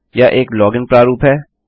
यह एक लॉगिन प्रारूप है